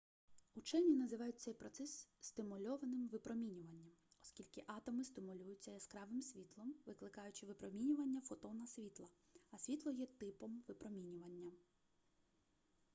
учені називають цей процес стимульованим випромінюванням оскільки атоми стимулюються яскравим світлом викликаючи випромінювання фотона світла а світло є типом випромінювання